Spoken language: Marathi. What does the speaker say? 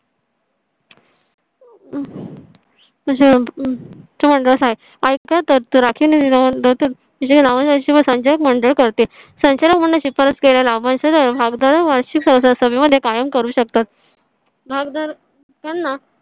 संचालक मंडळ करते. संचालक होण्याची शिफारस केलेला वंश सर्व भाग दर वार्षिक संस्थांमध्ये कायम करू शकतात. भागदरकांना